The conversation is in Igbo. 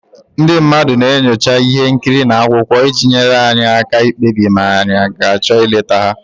Ndị mmadụ na-enyocha ihe nkiri na akwụkwọ iji nyere anyị aka ikpebi ma anyị ga-achọ ịlete ha.